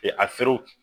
afiriw